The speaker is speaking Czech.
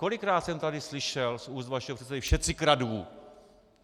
Kolikrát jsem tady slyšel z úst vašeho předsedy všetci kradnú.